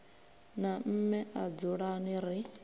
na mme a dzulani ri